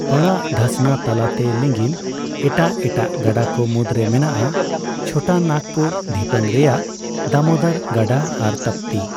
ᱯᱟᱲᱟᱜ ᱫᱷᱟᱥᱱᱟ ᱛᱟᱞᱟᱛᱮ ᱞᱤᱜᱤᱱ ᱮᱴᱟᱜ ᱮᱴᱟᱜ ᱜᱟᱰᱟ ᱠᱚ ᱢᱩᱫᱨᱮ ᱢᱮᱱᱟᱜᱼᱟ ᱪᱷᱳᱴᱳᱱᱟᱜᱯᱩᱨ ᱰᱷᱤᱯᱟᱹᱝ ᱨᱮᱭᱟᱜ ᱫᱟᱢᱳᱫᱚᱨ ᱜᱟᱰᱟ ᱟᱨ ᱛᱟᱯᱛᱤ ᱾